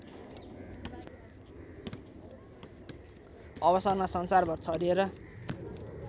अवसरमा संसारभर छरिएर